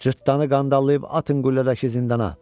Cırtdanı qandallayıb atın qüllədəki zindana.